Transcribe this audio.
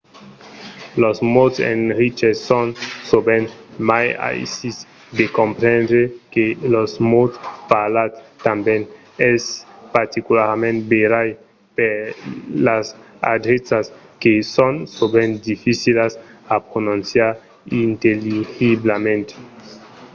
los mots escriches son sovent mai aisits de comprendre que los mots parlats tanben. es particularament verai per las adreças que son sovent dificilas a prononciar intelligiblament